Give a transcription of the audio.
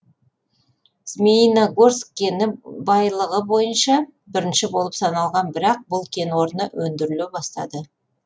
змеиногорск кені байлығы бойынша бірінші болып саналған бірақ бұл кен орны өндіріле бастады